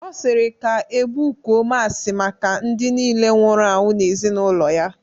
Ọ sịrị ka ebukuo masị maka ndị niile nwụrụ anwụ n'ezinaụlọ ya